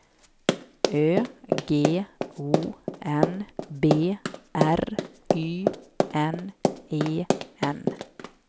Ö G O N B R Y N E N